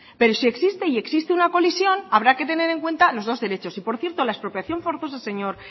pero si existe y existe una colisión habrá que tener en cuenta los dos derechos y por cierto la expropiación forzosa señor